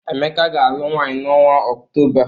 Emeka ga-alụ nwaanyị n’ọnwa Okutoba.